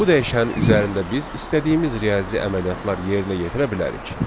Bu dəyişənin üzərində biz istədiyimiz riyazi əməliyyatlar yerinə yetirə bilərik.